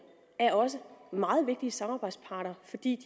er også meget vigtige samarbejdsparter fordi